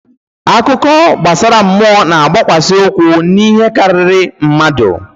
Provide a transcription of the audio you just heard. Akụkọ gbasara mmụọ na-agbakwasị ụkwụ n'ihe karịrị mmadụ.